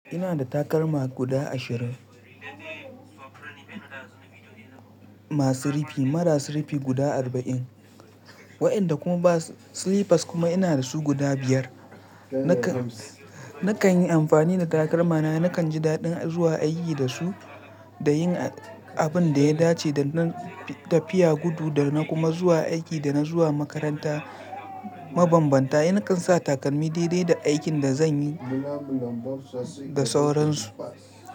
Ina da takalma guda ashirin masu rufi, marasa rufi guda arba'in, waɗanda kuma ba slippers kuma ina da su guda biyar. Nakan yi amfani da takalmana, nakan ji daɗin zuwa aiki da su da yin abin da ya dace, da tafiya gudu da kuma zuwa aiki da na zuwa makaranta mabambanta. Nakan sa takalmi daidai da aikin da zanyi da sauran su.